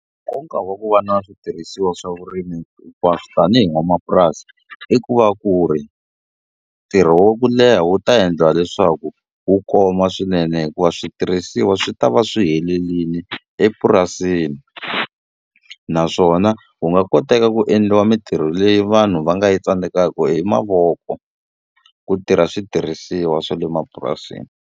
Nkoka wa ku va na switirhisiwa swa vurimi hinkwaswo tanihi n'wanamapurasi i ku va ku ri ntirho wa ku leha wu ta endliwa leswaku wu koma swinene hikuva switirhisiwa swi ta va swi swi helelini epurasini naswona wu nga koteka ku endliwa mintirho leyi vanhu va nga yi tsandzekaku hi mavoko ku tirha switirhisiwa swa le mapurasini.